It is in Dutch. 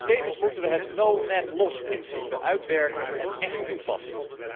Tevens moeten wij het No Net Loss principe uitwerken en echt toepassen.